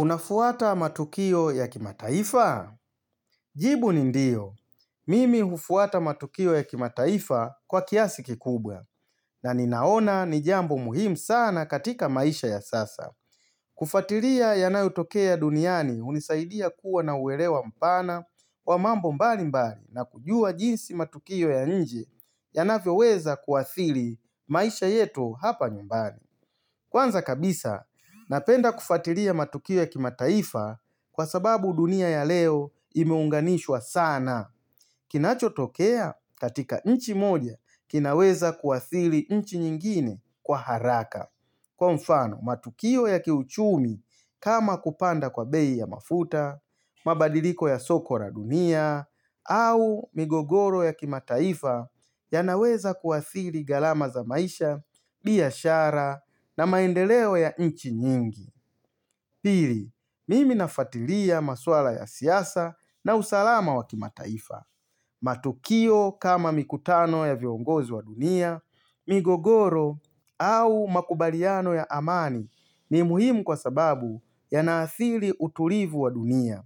Unafuata matukio ya kimataifa? Jibu ni ndio. Mimi hufuata matukio ya kimataifa kwa kiasi kikubwa na ninaona ni jambo muhimu sana katika maisha ya sasa. Kufatilia yanayotokea duniani hunisaidia kuwa na uelewa mpana kwa mambo mbali mbali na kujua jinsi matukio ya nje yanavyo weza kuathiri maisha yetu hapa nyumbani. Kwanza kabisa, napenda kufatilia matukio ya kimataifa kwa sababu dunia ya leo imeunganishwa sana. Kinacho tokea, katika nchi moja kinaweza kuathiri nchi nyingine kwa haraka. Kwa mfano, matukio ya kiuchumi kama kupanda kwa bei ya mafuta, mabadiliko ya soko la dunia, au migogoro ya kimataifa yanaweza kuathiri gharama za maisha, biashara na maendeleo ya nchi nyingi. Pili, mimi nafatilia maswala ya siasa na usalama wa kimataifa. Matukio kama mikutano ya viongozi wa dunia, migogoro au makubaliano ya amani ni muhimu kwa sababu yanaathiri utulivu wa dunia.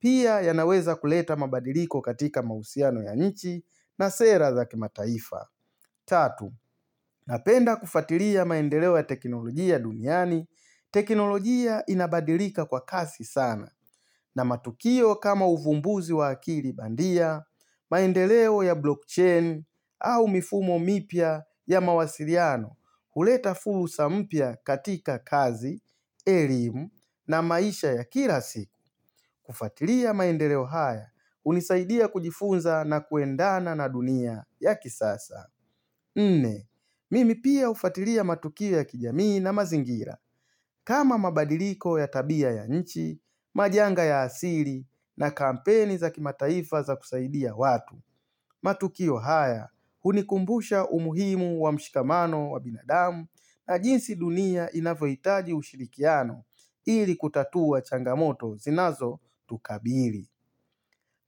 Pia yanaweza kuleta mabadiliko katika mahusiano ya nchi na sera za kimataifa. Tatu, napenda kufatilia maendeleo ya teknolojia duniani. Teknolojia inabadilika kwa kasi sana na matukio kama uvumbuzi wa akili bandia, maendeleo ya blockchain au mifumo mipya ya mawasiliano. Huleta fursa mpya katika kazi, elimu na maisha ya kila siku kufatilia maendeleo haya hunisaidia kujifunza na kuendana na dunia ya kisasa nne, mimi pia hufatilia matukio ya kijamii na mazingira kama mabadiliko ya tabia ya nchi, majanga ya asiri na kampeni za kimataifa za kusaidia watu matukio haya hunikumbusha umuhimu wa mshikamano wa binadamu na jinsi dunia inavyohitaji ushirikiano ili kutatua changamoto zinazo tukabiri.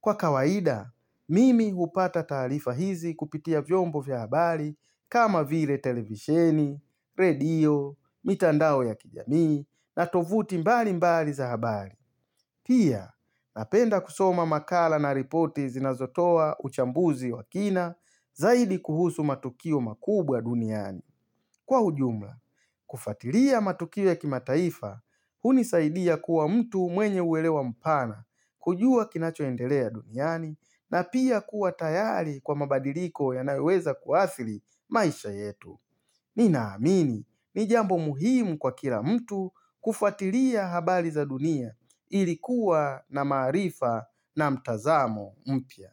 Kwa kawaida, mimi hupata taarifa hizi kupitia vyombo vya habari kama vile televisheni, redio, mitandao ya kijamii na tovuti mbali mbali za habari. Pia, napenda kusoma makala na ripoti zinazo toa uchambuzi wa kina zaidi kuhusu matukio makubwa duniani. Kwa ujumla, kufatilia matukio ya kimataifa, hunisaidia kuwa mtu mwenye uelewa mpana, kujua kinachoendelea duniani, na pia kuwa tayari kwa mabadiliko yanayoweweza kuathiri maisha yetu. Ninaamini, ni jambo muhimu kwa kila mtu kufatilia habari za dunia ilikuwa na maarifa na mtazamo mpya.